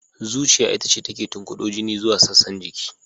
Zuciya ita ce take tunkudo jini zuwa sassan jiki.